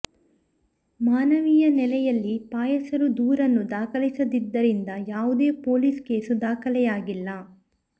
ಮಾನವೀಯ ನೆಲೆಯಲ್ಲಿ ಪಾಯಸರು ದೂರನ್ನು ದಾಖಲಿಸದಿದ್ದರಿಂದ ಯಾವುದೇ ಪೋಲಿಸ್ ಕೇಸು ದಾಖಲಾಗಿಲ್ಲ